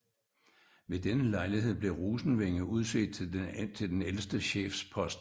Ved denne lejlighed blev Rosenvinge udset til den ældste chefspost